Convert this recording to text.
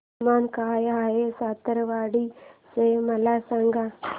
तापमान काय आहे सावंतवाडी चे मला सांगा